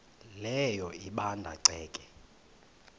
leyo ebanda ceke